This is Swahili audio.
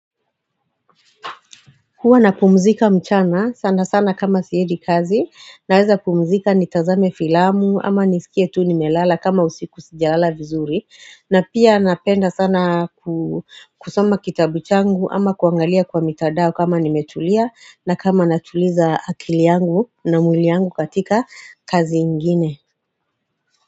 Huwa napumzika mchana sana sana kama siedi kazi naeza pumzika nitazame filamu ama nisikie tu nimelala kama usiku sijala vizuri na pia napenda sana kusoma kitabu changu ama kuangalia kwa mitadao kama nimetulia na kama natuliza akili yangu na mwili yangu katika kazi ingine.